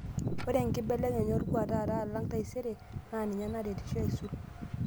Ore enkibelekenyata olkuak taata alang' taisere naa ninye naretisho aisul.